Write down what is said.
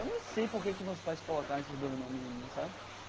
Eu nem sei por que que meus pais colocaram esses dois nomes em mim, sabe?